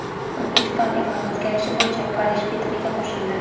O‘zbekiston iqlim o‘zgarishi bo‘yicha Parij bitimiga qo‘shildi.